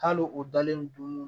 Hali o dalen don